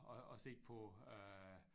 Og og se på øh